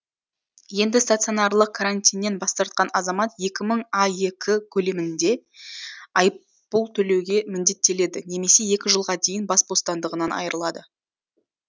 енді стационарлық карантиннен бас тартқан азамат екі мың аек көлемінде айыппұл төлеуге міндеттеледі немесе екі жылға дейін бас бостандығынан айырылады